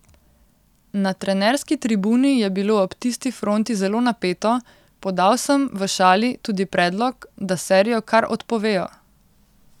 Na trenerski tribuni je bilo ob tisti fronti zelo napeto, podal sem, v šali, tudi predlog, da serijo kar odpovejo.